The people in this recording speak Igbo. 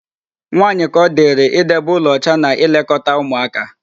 Nwaaanyị ka ọ dịrị idebe ụlọ ọcha na ịlekọta ụmụaka.